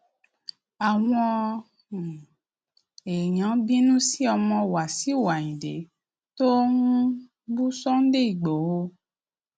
àwọn um èèyàn bínú sí ọmọ wáṣíù ayíǹde tó ń um bú sunday ìgbòho